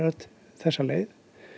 þessa leið